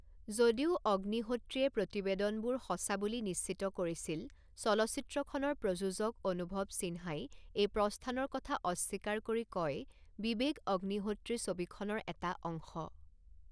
যদিও অগ্নিহোত্ৰীয়ে প্ৰতিবেদনবোৰ সঁচা বুলি নিশ্চিত কৰিছিল, চলচ্চিত্ৰখনৰ প্ৰযোজক অনুভৱ সিনহাই এই প্ৰস্থানৰ কথা অস্বীকাৰ কৰি কয়, বিবেক অগ্নিহোত্ৰী ছবিখনৰ এটা অংশ।